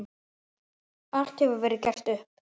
Allt hefur verið gert upp.